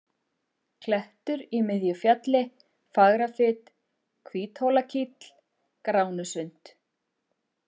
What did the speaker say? Klettur í miðju fjalli, Fagrafit, Hvíthólakíll, Gránusund